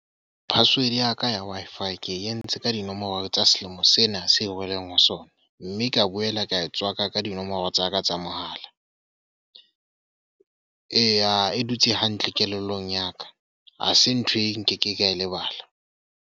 Password ya ka ya Wi-Fi ke entse ka dinomoro tsa selemo sena seo releng ho sona. Mme ka boela ka e tswaka ka dinomoro tsa ka tsa mohala. Eya e dutse hantle kelellong ya ka, ha se ntho e nkeke ka e lebala.